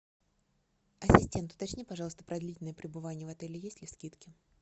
ассистент уточни пожалуйста про длительное пребывание в отеле есть ли скидки